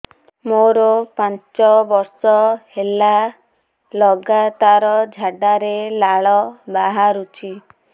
ମୋରୋ ପାଞ୍ଚ ବର୍ଷ ହେଲା ଲଗାତାର ଝାଡ଼ାରେ ଲାଳ ବାହାରୁଚି